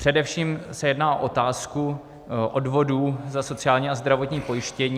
Především se jedná o otázku odvodů na sociální a zdravotní pojištění.